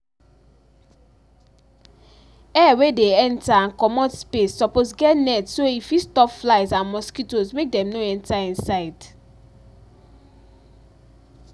air wey dey enter and comot space suppose get net so e fit stop flies and mosquitoes make dem no enter inside